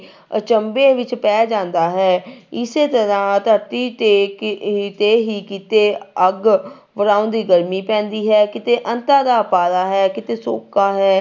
ਅਚੰਬੇ ਵਿੱਚ ਪੈ ਜਾਂਦਾ ਹੈ ਇਸੇ ਤਰ੍ਹਾਂ ਧਰਤੀ ਤੇ ਕ ਤੇ ਹੀ ਕਿਤੇ ਅੱਗ ਵਰਾਂਦੀ ਗਰਮੀ ਪੈਂਦੀ ਹੈ, ਕਿਤੇ ਦਾ ਅੰਤਾ ਦਾ ਪਾਰਾ ਹੈ, ਕਿਤੇ ਸੋਕਾ ਹੈ